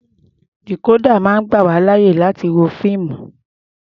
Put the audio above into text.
Dìkódà máa ń gbà wá láyè láti wo fíìmù.